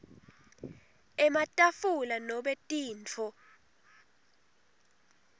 ematafula nobe tintfo